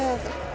að